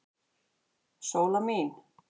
Sóla mín.